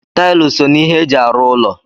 Taịlị so n'ihe eji arụ ụlọ.